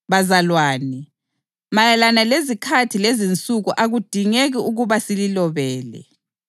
Bazalwane, mayelana lezikhathi lezinsuku akudingeki ukuba sililobele